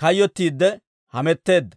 kayyottiidde hametteedda.